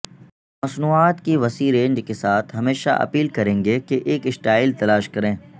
مصنوعات کی وسیع رینج کے ساتھ ہمیشہ اپیل کریں گے کہ ایک سٹائل تلاش کریں